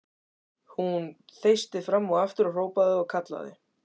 Hún þeysti fram og aftur og hrópaði og kallaði.